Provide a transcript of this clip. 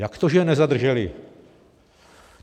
Jak to, že je nezadrželi?